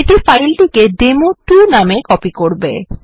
এটি ফাইলটিকে ডেমো2 নাম এ কপি করবে